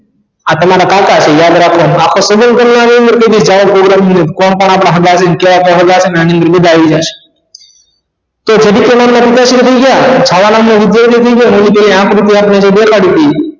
આ તમારા કાકા છે યાદ રાખવાનુ કોણ કોણ આપણા સગા છે કયા કયા હગા છે આની અંદર બધા આવી જાશ છાયા એવી આકૃતિ આપણે દેખાડી હતી